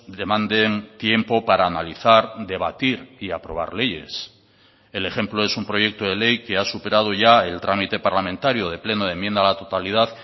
demanden tiempo para analizar debatir y aprobar leyes el ejemplo es un proyecto de ley que ha superado ya el trámite parlamentario de pleno de enmienda a la totalidad